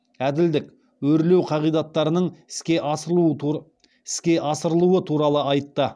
әділдік өрлеу қағидаттарының іске асырылуы туралы айтты